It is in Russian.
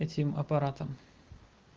этим аппаратом